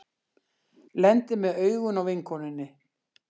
Lendir með augun á vinkonunni.